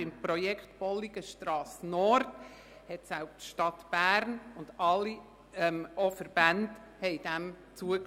Dem Projekt Bolligenstrasse Nord stimmten die Stadt Bern und auch alle Verbände zu.